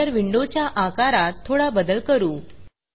editor विंडोच्या आकारात थोडा बदल करू